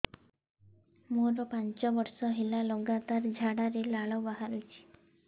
ମୋରୋ ପାଞ୍ଚ ବର୍ଷ ହେଲା ଲଗାତାର ଝାଡ଼ାରେ ଲାଳ ବାହାରୁଚି